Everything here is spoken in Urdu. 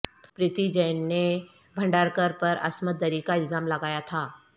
پریتی جین نے بھنڈارکر پر عصمت دری کا الزام لگایا تھا